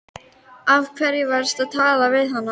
Af hverju varstu að tala við hana?